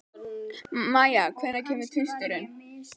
Mæja, hvenær kemur tvisturinn?